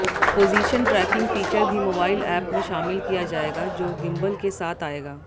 position tracking feature भी mobile app में शामिल किया जाएगा जो गिम्बल के साथ आएगा